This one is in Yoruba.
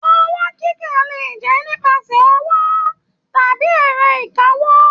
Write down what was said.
Owó kíkà lè jẹ nípasẹ̀ ọwọ tàbí ẹrọ ìkáwó.